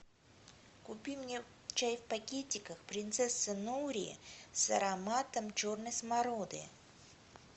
купи мне чай в пакетиках принцесса нури с ароматом черной смороды